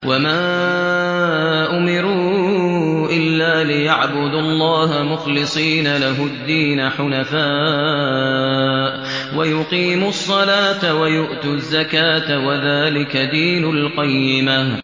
وَمَا أُمِرُوا إِلَّا لِيَعْبُدُوا اللَّهَ مُخْلِصِينَ لَهُ الدِّينَ حُنَفَاءَ وَيُقِيمُوا الصَّلَاةَ وَيُؤْتُوا الزَّكَاةَ ۚ وَذَٰلِكَ دِينُ الْقَيِّمَةِ